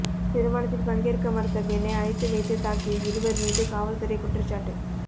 திருமணத்தில் பங்கேற்க மறுத்த பெண்ணை அடைத்து வைத்து தாக்கிய இருவர் மீது காவல்துறை குற்றச்சாட்டு